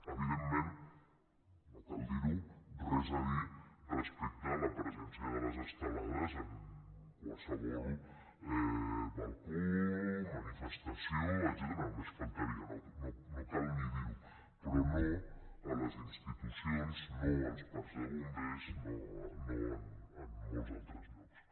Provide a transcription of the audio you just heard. evidentment no cal dir ho res a dir respecte a la presència de les estelades en qualsevol balcó manifestació etcètera només faltaria no cal ni dir ho però no a les institucions no als parcs de bombers no en molts altres llocs